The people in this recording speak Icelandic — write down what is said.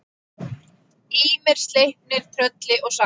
Ýmir, Sleipnir, Trölli og Saga.